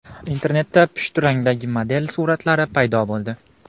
Internetda pushti rangdagi model suratlari paydo bo‘ldi.